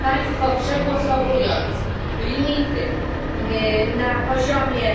Państwo, przegłosowując limity na poziomie